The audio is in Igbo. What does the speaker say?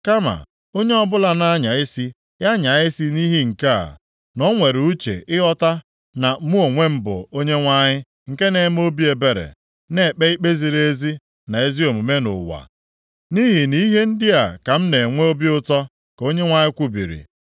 kama, onye ọbụla na-anya isi, ya nyaa isi nʼihi nke a: na o nwere uche ịghọta na mụ onwe m bụ, Onyenwe anyị nke na-eme obi ebere, na-ekpe ikpe ziri ezi na ezi omume nʼụwa. Nʼihi nʼihe ndị a ka m na-enwe obi ụtọ,” ka Onyenwe anyị kwubiri.